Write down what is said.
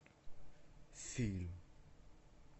фильм